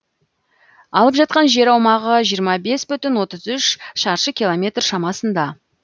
алып жатқан жер аумағы жиырма бес бүтін отыз үш шаршы километр шамасында